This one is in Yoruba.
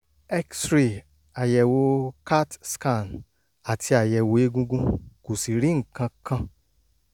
x-ray àyẹ̀wò catscan àti àyẹ̀wò egungun kò sì rí nǹkan kan